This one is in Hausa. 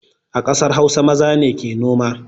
A ƙasar hausa maza ne ke noma